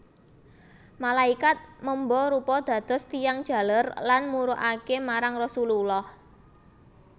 Malaikat memba rupa dados tiyang jaler lan murukaké marang Rasululllah